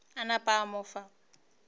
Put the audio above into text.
a napa a mo fa